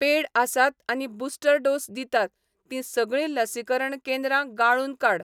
पेड आसात आनी booster dose दितात तीं सगळीं लसीकरण केंद्रां गाळून काड.